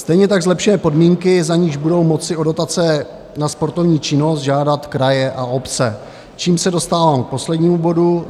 Stejně tak zlepšuje podmínky, za níž budou moci o dotace na sportovní činnost žádat kraje a obce, čímž se dostávám k poslednímu bodu.